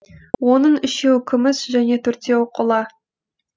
оның үшеуі күміс және төртеуі қола